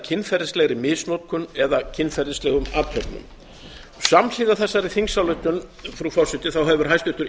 kynferðislegri misnotkun eða kynferðislegum athöfnum samhliða þessari þingsályktun frú forseti hefur hæstvirtur